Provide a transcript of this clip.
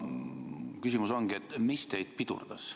Küsimus ongi, et mis teid pidurdas.